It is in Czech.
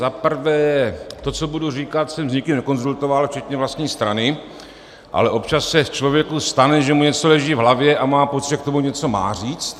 Za prvé - to, co budu říkat, jsem s nikým nekonzultoval, včetně vlastní strany, ale občas se člověku stane, že mu něco leží v hlavě a má pocit, že k tomu něco má říct.